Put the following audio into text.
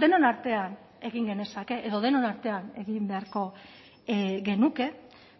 denon artean egin genezake edo denon artean egin beharko genuke